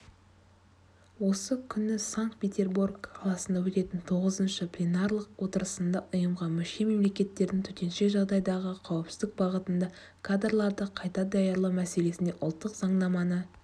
осы күні санкт-петербор қаласында өтетін тоғызыншы пленарлық отырысында ұйымға мүше-мемлекеттердің төтенше жағдайдағы қауіпсіздік бағытында кадрларды қайта даярлау мәселесінде ұлттық заңнаманы